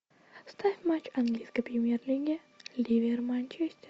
ставь матч английской премьер лиги ливер манчестер